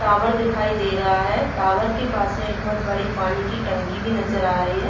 Tower दिखाई दे रहा है। टावर के पास में एक बहोत बड़ी पानी की टंकी भी नजर आ रही है।